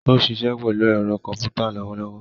O siṣẹ pelu ero komputa lowolowo